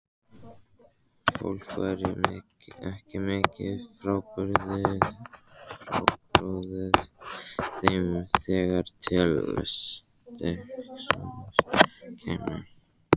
Fólk væri ekki mikið frábrugðið þeim þegar til stykkisins kæmi.